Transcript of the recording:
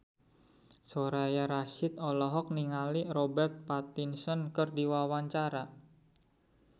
Soraya Rasyid olohok ningali Robert Pattinson keur diwawancara